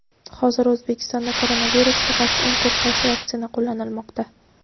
Hozir O‘zbekistonda koronavirusga qarshi eng ko‘p qaysi vaksina qo‘llanilmoqda?.